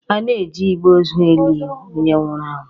A na-eji igbe ozu e li onye nwụrụ anwụ.